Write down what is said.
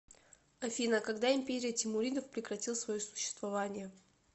афина когда империя тимуридов прекратил свое существование